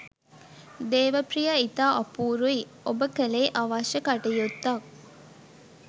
දේවප්‍රිය ඉතා අපූරුයි ඔබ කළේ අවශ්‍ය කටයුත්තක්.